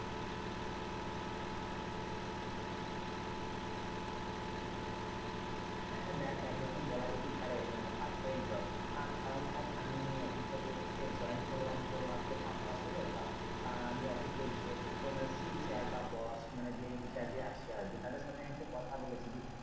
হ্যাঁ দেখ এক রকম বলা যেতেই পারে, মানে part time job কারণ দেখ আমি এই অফিস থেকে join করলাম মাত্র পাঁচ মাস হল তা আমি অফিসে যে স্যার বা বস যে in charge আছে আর কি। তাদের সাথে আমি কথা বলেছি,